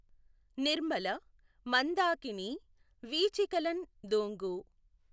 నిర్మల మందాకినీ వీచికలఁ దూఁగు